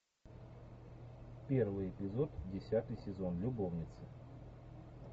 первый эпизод десятый сезон любовницы